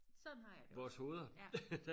vores hoveder